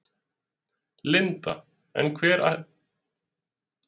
Linda: En hvar ætlarðu að horfa á leikinn?